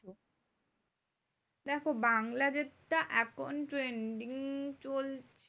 দেখো বাংলা যেটা এখন trending চল